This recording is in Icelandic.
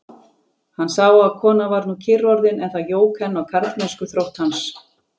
Hann sá að konan var nú kyrr orðin, en það jók enn á karlmennskuþrótt hans.